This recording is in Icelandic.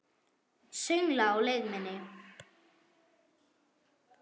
Söngla á leið minni.